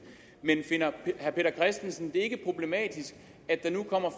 men finder herre peter christensen det ikke problematisk at der nu kommer